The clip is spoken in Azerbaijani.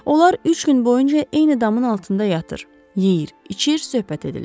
Onlar üç gün boyunca eyni damın altında yatır, yeyir, içir, söhbət edirlər.